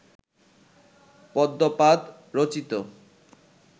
পদ্মপাদ রচিত